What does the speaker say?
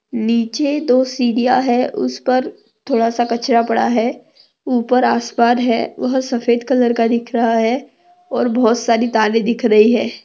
नीचे दो सिडिया है उसपर थोडासा कचरा पड़ा है। उपर आसमान है। वह सफ़ेद कलर का दिख रहा है और बहुत सारी तारे दिख रही है।